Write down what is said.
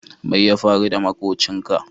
Mai ya faru da makobcin ka?